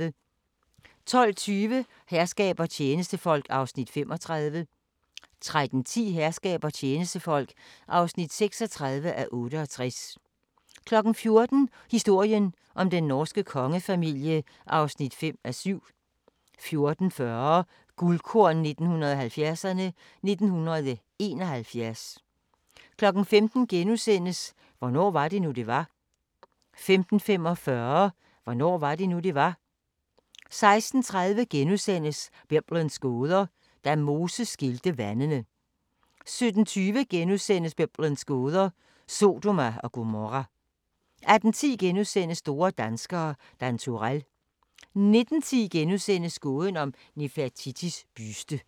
12:20: Herskab og tjenestefolk (35:68) 13:10: Herskab og tjenestefolk (36:68) 14:00: Historien om den norske kongefamilie (5:7) 14:40: Guldkorn 1970'erne: 1971 15:00: Hvornår var det nu, det var? * 15:45: Hvornår var det nu, det var? 16:30: Biblens gåder – Da Moses skilte vandene * 17:20: Biblens gåder – Sodoma og Gomorra * 18:10: Store danskere – Dan Turell * 19:10: Gåden om Nefertitis buste *